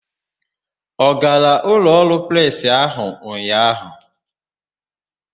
Ọ gara ụlọọrụ presị ahụ ụnyaahụ?